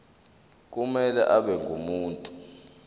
kumele abe ngumuntu